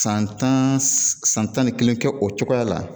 San tan san tan ni kelen kɛ o cogoya la